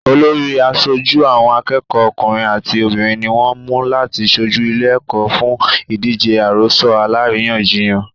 Olórí àṣojú àwọn akẹ́kọ̀ọ́ ọkùnrin àti obìnrin ní wọ́n mú láti ṣojú ìlé-ẹ̀kọ́ fún ìdíje àròsọ alárìíyànjiyàn.